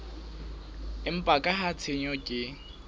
empa ka ha tshenyo ke